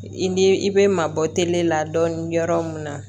I ni i bɛ mabɔ tele la dɔɔni yɔrɔ mun na